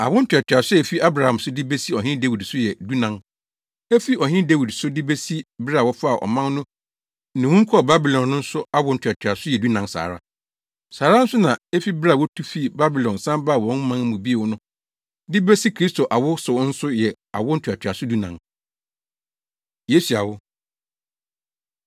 Awo ntoatoaso a efi Abraham so de besi Ɔhene Dawid so yɛ dunan. Efi Ɔhene Dawid so de besi bere a wɔfaa ɔman no nnommum kɔɔ Babilon no nso awo ntoatoaso yɛ dunan saa ara. Saa ara nso na efi bere a wotu fii Babilon san baa wɔn man mu bio no de besi Kristo awo so nso yɛ awo ntoatoaso dunan. Yesu Awo